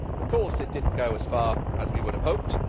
Of course, it did not go as far as we would have hoped.